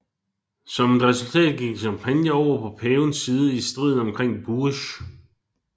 Som et resultat gik Champagne over på pavens side i striden omkring Bourges